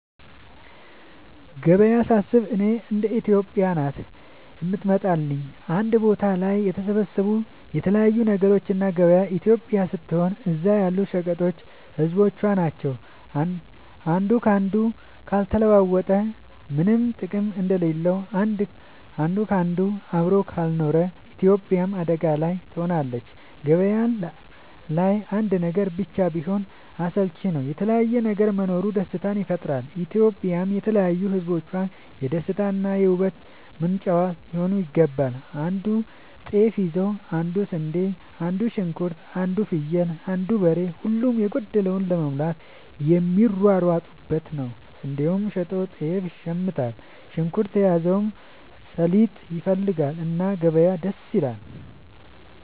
ገበያ ሳስብ እኔ ኢትዮጵያ ናት የምትመጣለኝ አንድ ቦታ ላይ የተሰባሰቡ የተለያዩ ነገሮች እና ገበያው ኢትዮጵያ ስትሆን እዛ ያሉት ሸቀጦች ህዝቦቿ ናቸው። አንዱ ካንዱ ካልተለዋወጠ ምነም ጥቅም እንደሌለው አንድ ካንዱ አብሮ ካልኖረ ኢትዮጵያም አደጋ ላይ ትሆናለች። ገባያው ላይ አንድ ነገር ብቻ ቢሆን አስልቺ ነው የተለያየ ነገር መኖሩ ደስታን ይፈጥራል። ኢትዮጵያም የተለያዩ ህዝቦቿ የደስታ እና የ ውበት ምንጯ ሊሆን ይገባል። አንዱ ጤፍ ይዞ አንዱ ስንዴ አንዱ ሽንኩርት አንዱ ፍየል አንዱ በሬ ሁሉም የጎደለውን ለመሙላት የሚሯሯጡበት ነው። ስንዴውን ሸጦ ጤፍ ይሽምታል። ሽንኩርት የያዘው ሰሊጥ ይፈልጋል። እና ገበያ ደስ ይላል።